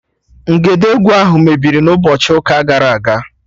Ngedegwu ahụ mebiri n'ụbọchị ụka gara aga